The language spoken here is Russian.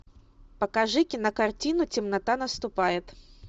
покажи кинокартину темнота наступает